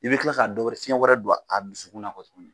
I bɛ kila ka dɔ wɛrɛ, fiyɛn wɛrɛ don a dusukun na n kɔ tugunni.